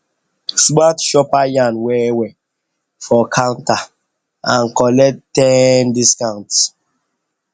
smart shopper yarn well well for counter and collect ten discount